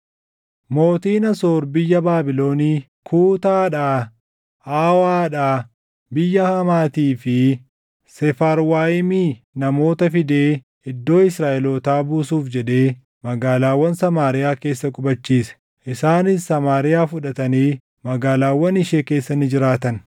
Mootiin Asoor biyya Baabilonii, Kuutaadhaa, Awaadhaa, biyya Hamaatii fi Seefarwaayimii namoota fidee iddoo Israaʼelootaa buusuuf jedhee magaalaawwan Samaariyaa keessa qubachiise. Isaanis Samaariyaa fudhatanii magaalaawwan ishee keessa ni jiraatan.